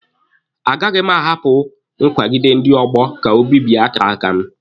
A gaghị m ahapụ nkwagide ndị ọgbọ ka o bibie akara aka m.